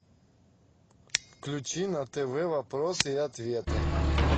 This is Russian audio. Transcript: включи на тв вопросы и ответы